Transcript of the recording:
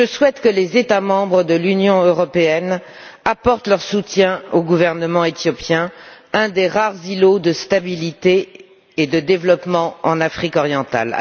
Je souhaite que les États membres de l'Union européenne apportent leur soutien au gouvernement éthiopien, un des rares îlots de stabilité et de développement en Afrique orientale.